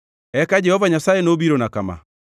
Eka wach Jehova Nyasaye nobirona kama: